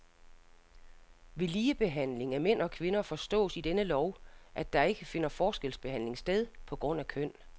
Ved ligebehandling af mænd og kvinder forstås i denne lov, at der ikke finder forskelsbehandling sted på grund af køn.